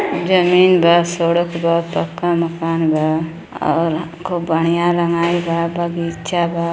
जमीन बा। सड़क बा। पक्का मकान बा और खूब बढ़िया रंगाई बा। बगीचा बा।